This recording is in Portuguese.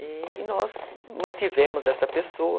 E nós mantivemos essa pessoa.